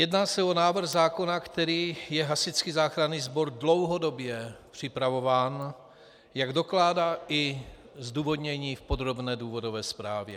Jedná se o návrh zákona, který je Hasičský záchranný sbor dlouhodobě připravován, jak dokládá i zdůvodnění v podrobné důvodové zprávě.